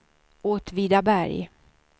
Åtvidaberg